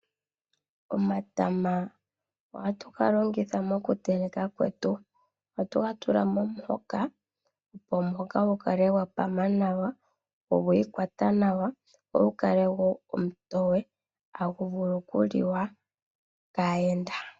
Omatama ohatu ga longitha moku teleka kwetu. Ohatu ga tula momuhoka opo gukale gwapama nawa, go ogwii kwata nawa, go ogu kale wo omutoye tagu vulu okuliwa kaayenda.